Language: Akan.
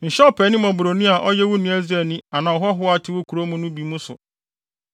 Nhyɛ ɔpaani mmɔborɔni a ɔyɛ wo nua Israelni anaa ɔhɔho a ɔte mo nkurow no mu bi mu no so.